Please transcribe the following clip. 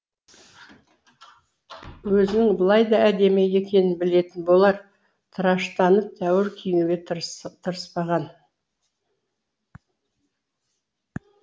өзінің былайда әдемі екенін білетін болар тыраштанып тәуір киінуге тырыспаған